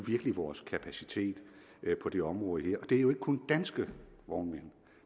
vores kapacitet på det område her det er jo ikke kun danske vognmænd